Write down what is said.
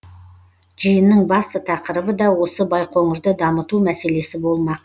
жиынның басты тақырыбы да осы байқоңырды дамыту мәселесі болмақ